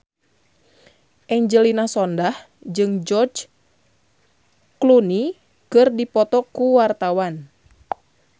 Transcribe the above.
Angelina Sondakh jeung George Clooney keur dipoto ku wartawan